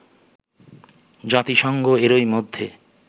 জাতিসংঘ এরই মধ্যে